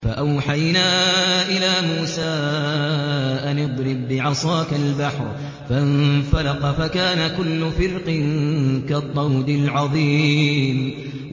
فَأَوْحَيْنَا إِلَىٰ مُوسَىٰ أَنِ اضْرِب بِّعَصَاكَ الْبَحْرَ ۖ فَانفَلَقَ فَكَانَ كُلُّ فِرْقٍ كَالطَّوْدِ الْعَظِيمِ